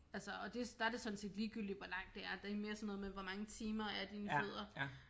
Altså og det der er det sådan set ligegyldigt hvor langt det er det er mere sådan noget med hvor mange timer er dine fødder